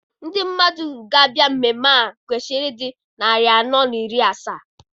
Ndị mmadụ ga-abịa mmemme ahụ kwesịrị ịdị narị anọ na iri asaa.